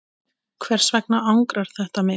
Hvers vegna angrar þetta mig?